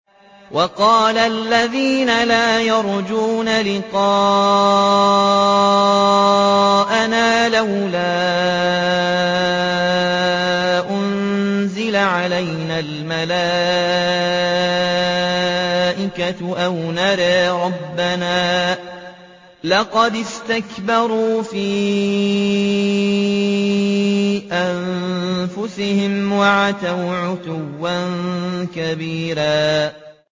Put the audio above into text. ۞ وَقَالَ الَّذِينَ لَا يَرْجُونَ لِقَاءَنَا لَوْلَا أُنزِلَ عَلَيْنَا الْمَلَائِكَةُ أَوْ نَرَىٰ رَبَّنَا ۗ لَقَدِ اسْتَكْبَرُوا فِي أَنفُسِهِمْ وَعَتَوْا عُتُوًّا كَبِيرًا